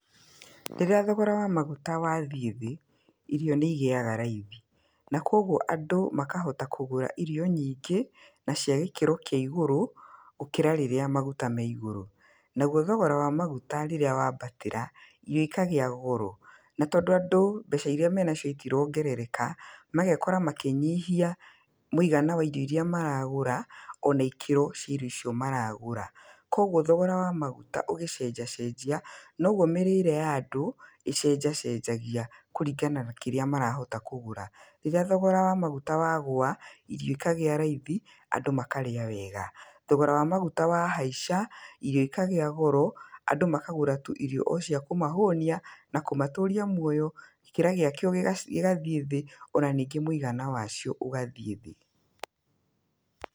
Rĩrĩa thogora wa maguta wathiĩ thĩ irio nĩ igĩaga raithi. Na koguo andũ makahota kũgũra irio nyingĩ na cia gĩkĩro kĩ igũrũ gũkĩra rĩrĩa maguta me igũrũ. Naguo thogora wa maguta rĩrĩa waambatĩra irio ikagĩa goro. Na tondũ andũ mbeca irĩa menacio itirongerereka, magekora makĩnyihia mũigana wa mbeca irio irĩa maragũra, ona ikĩro cia irio irĩa maragũra. Koguo thogora wa maguta ũgĩcenjacenjia noguo mĩrĩre ya andũ ĩcenjacenjagia kũringana na kĩrĩa marahota kũgũra. Rĩrĩa thogora wa maguta wagũa irio ikagĩa raithi andũ makarĩa wega. Thogora wa maguta wahaica, irio ikagĩa goro andũ makagũra irio tu o cia kũmahũnia na kũmatũria muoya, kĩrĩa gĩacio gĩgathiĩ thĩ ona ningĩ mũigana wacio ũgathiĩ thĩ.